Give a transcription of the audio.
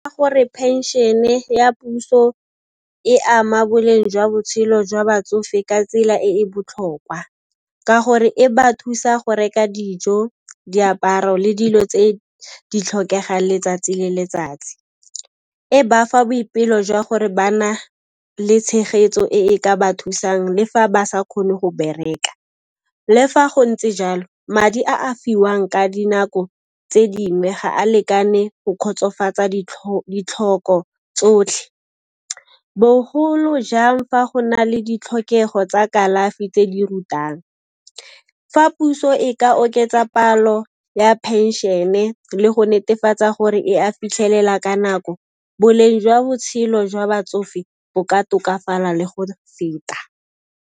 Gore pension-e ya puso e ama boleng jwa botshelo jwa batsofe ka tsela e e botlhokwa ka gore e ba thusa go reka dijo, diaparo le dilo tse di tlhokega letsatsi le letsatsi, e ba fa boipelo jwa gore ba na le tshegetso e e ka ba thusang mme fa ba sa kgone go bereka. Le fa go ntse jalo, madi a a fiwang ka dinako tse dingwe ga a lekane go kgotsofatsa ditlhoko tsotlhe, bogolo jang fa go na le ditlhokego tsa kalafi tse di rutang. Fa puso e ka oketsa palo ya phenšene le go netefatsa gore e a fitlhelela ka nako, boleng jwa botshelo jwa batsofe bo ka tokafala le go feta.